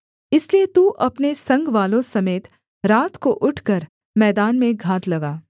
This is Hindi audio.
इसलिए तू अपने संगवालों समेत रात को उठकर मैदान में घात लगा